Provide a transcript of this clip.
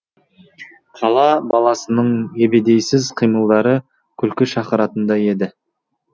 қала баласының ебедейсіз қимылдары күлкі шақыратындай еді